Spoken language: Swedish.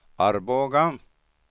Arboga